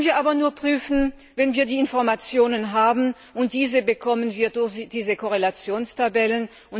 Das können wir aber nur prüfen, wenn wir die Informationen haben, und diese bekommen wir durch diese Entsprechungstabellen.